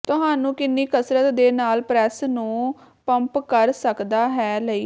ਤੁਹਾਨੂੰ ਕਿੰਨੀ ਕਸਰਤ ਦੇ ਨਾਲ ਪ੍ਰੈਸ ਨੂੰ ਪੰਪ ਕਰ ਸਕਦਾ ਹੈ ਲਈ